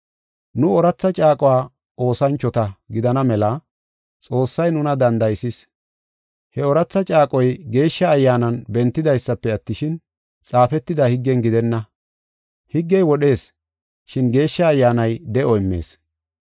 Nu ooratha caaquwa oosanchota gidana mela Xoossay nuna danda7isis. He ooratha caaqoy Geeshsha Ayyaanan bentidaysafe attishin, xaafetida higgen gidenna. Higgey wodhees, shin Geeshsha Ayyaanay de7o immees.